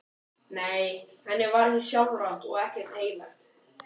Nei, henni var ekki sjálfrátt og ekkert heilagt.